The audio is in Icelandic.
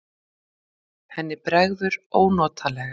Henni bregður ónotalega.